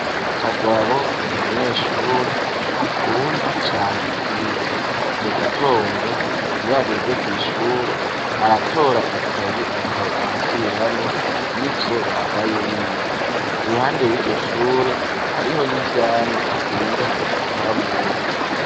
Kagabo n'umunyeshure akunda cane kwiga mu gitondo iyo ageze kw'ishure aratora ikaye akaba arasubiramwo ivyo baraye bize iruhande yiryo shure hariho n'ivyamwa akunda kuja kwamura